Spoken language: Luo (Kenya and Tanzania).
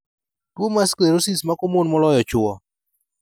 Tuo mar sclerosis mako mon moloyo chwo